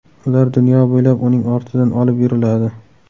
Ular dunyo bo‘ylab uning ortidan olib yuriladi.